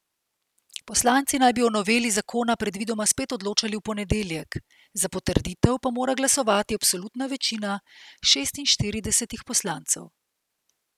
Poslanci naj bi o noveli zakona predvidoma spet odločali v ponedeljek, za potrditev pa mora glasovati absolutna večina šestinštiridesetih poslancev.